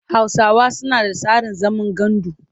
Hausawa suna da tsarin zaman gandu.